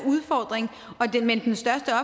udfordring men den største